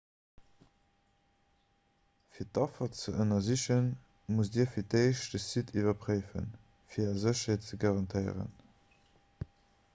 fir d'affer ze ënnersichen musst dir fir d'éischt de site iwwerpréiwen fir är sécherheet ze garantéieren